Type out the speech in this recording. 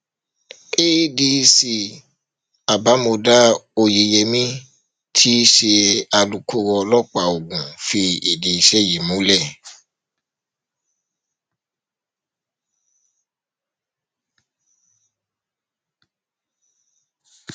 adc abimodá oyeyèmí tí í ṣe alūkkoro ọlọpàá ogun fìdí ìṣẹlẹ yìí múlẹ